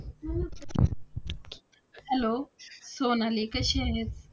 Hello Sonali कशी आहेस?